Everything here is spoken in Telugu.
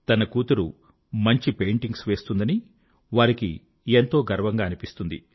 తన కూతురు మంచి పెయింటింగ్స్ వేస్తుందని వారికి ఎంతో గర్వంగా అనిపిస్తుంది